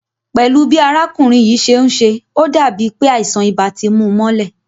Pẹ́lú bi arákùnrin yìí ṣe ń ṣe, ó dàbí pé àìsàn ibà ti mú u mọ́lẹ̀